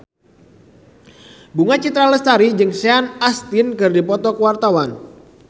Bunga Citra Lestari jeung Sean Astin keur dipoto ku wartawan